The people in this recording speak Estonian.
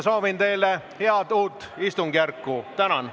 Soovin teile head uut istungjärku!